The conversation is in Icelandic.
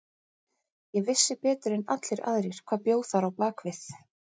Ég vissi betur en allir aðrir hvað bjó þar á bak við.